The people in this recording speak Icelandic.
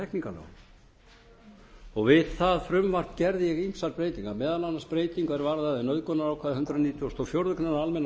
á hegingarlögunum við það frumvarp gerði ég ýmsar breytingar meðal annars breytingu er varðaði nauðgunarákvæði hundrað og fjórðu grein